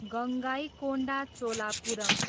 Gangaikonda Cholapuram